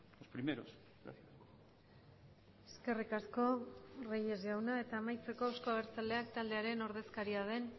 los primeros eskerrik asko reyes jauna eta amaitzeko euzko abertzaleak taldearen ordezkaria den